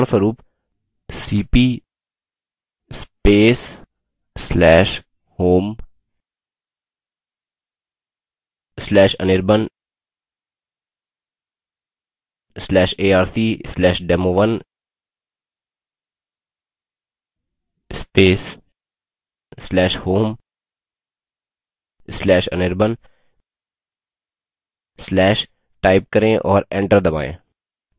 $cp/home/anirban/arc/demo1/home/anirban/type करें और enter दबायें